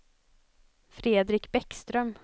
Fredrik Bäckström